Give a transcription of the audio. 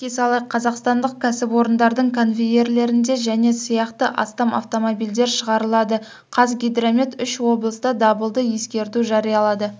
еске салайық қазақстандық кәсіпорындардың конвейерлерінде және сияқты астам автомобильдер шығарылады қазгидромет үш облыста дабылды ескерту жариялады